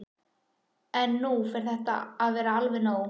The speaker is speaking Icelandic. En nú fer þetta að verða nóg.